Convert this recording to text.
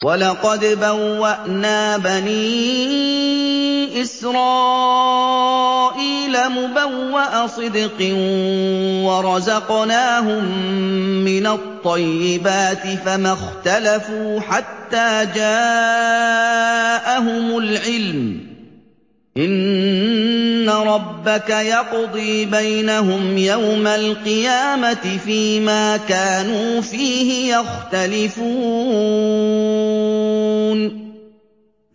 وَلَقَدْ بَوَّأْنَا بَنِي إِسْرَائِيلَ مُبَوَّأَ صِدْقٍ وَرَزَقْنَاهُم مِّنَ الطَّيِّبَاتِ فَمَا اخْتَلَفُوا حَتَّىٰ جَاءَهُمُ الْعِلْمُ ۚ إِنَّ رَبَّكَ يَقْضِي بَيْنَهُمْ يَوْمَ الْقِيَامَةِ فِيمَا كَانُوا فِيهِ يَخْتَلِفُونَ